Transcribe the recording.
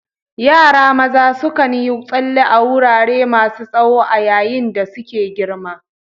Yara maza sukan yi tsalle a wurare masu tsawo a yayin da suke girma.